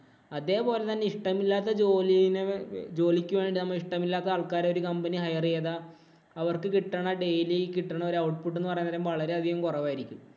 അതേപോലെ തന്നെ ഇഷ്ടമില്ലാത്ത ജോലീന് ജോലിക്കു വേണ്ടി നമുക്ക് ഇഷ്ടമില്ലാത്ത ആൾക്കാരെ company hire ചെയ്താ അവര്‍ക്ക് കിട്ടണ daily കിട്ടണ ഒരു output എന്ന് പറയുന്നത് വളരെയധികം കുറവ് ആയിരിക്കും.